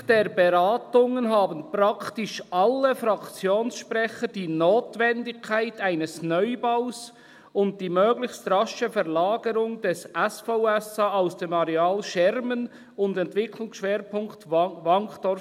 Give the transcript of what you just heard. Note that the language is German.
«Anlässlich der Beratungen haben praktisch alle Fraktionssprecher die Notwendigkeit eines Neubaus und die möglichst rasche Verlagerung des SVSA aus dem Areal Schermen am Entwicklungsschwerpunkt Wankdorf